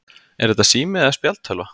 Er þetta sími eða spjaldtölva?